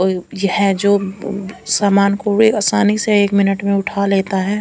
यह जो समान कूडे आसानी से एक मिनट मे उठा लेता है।